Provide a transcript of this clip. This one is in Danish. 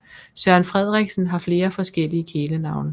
Søren Frederiksen har flere forskellige kælenavne